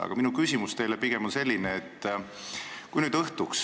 Aga minu küsimus teile on pigem selline.